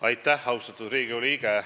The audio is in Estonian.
Aitäh, austatud Riigikogu liige!